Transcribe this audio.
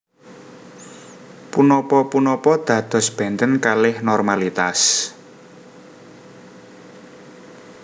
Punapa punapa dados benten kalih normalitas